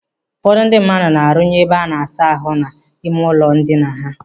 Ụfọdụ ndị mmadụ na-arụnye ebe a na-asa ahụ n'ime ụlọ ndina ha.